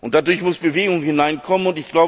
Dadurch muss Bewegung hineinkommen.